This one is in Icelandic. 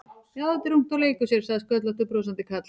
Já, þetta er ungt og leikur sér sagði sköllóttur brosandi karl.